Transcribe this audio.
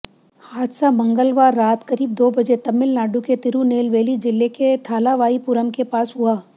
हादसा मंगलवार रात करीब दो बजे तमिलनाडु के तिरुनेलवेली जिले के थालावाईपुरम के पास हुआ